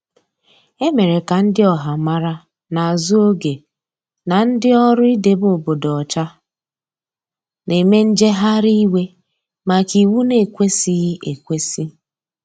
Emere ka ndi ọha mara n'azu oge n' ndi ọrụ idebe obodo ocha n'eme njegharị iwe maka iwụ na ekwesighi ekwesi.